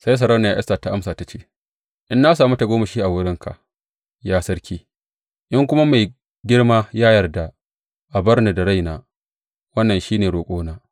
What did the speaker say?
Sai Sarauniya Esta ta amsa ta ce, In na sami tagomashi a wurinka, ya sarki, in kuma mai girma ya yarda, a bar ni da raina, wannan shi ne roƙona.